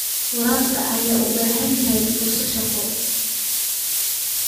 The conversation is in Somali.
Waraabka ayaa bixiya fursado shaqo.